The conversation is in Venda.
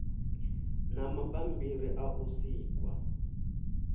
na mabambiri a u sikwa